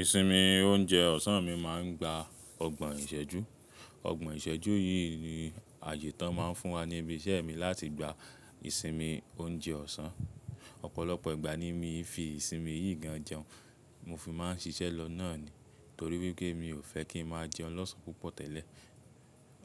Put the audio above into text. Ìsinmi oúnjẹ ọ̀sán mi máa ń gba ọgbọ̀n ìṣẹ́jú. Ọgbọ̀n ìṣẹ́jú yìí ni àyẹ́ tán máa ń fún wa ní ibi iṣẹ́ mi láti gba ìsinmi oúnjẹ ọ̀sán. Ọ̀pọ̀lọpọ̀ ìgbà ni mi fi ìsinmi yìí gan jẹun. Mo fi máa ń ṣiṣẹ́ lọ náà ni, torí wípé mi ò fẹ́ kí n máa jẹun lọ́sàn púpọ̀ tẹ́lẹ̀.